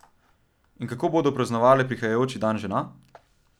In kako bodo praznovale prihajajoči dan žena?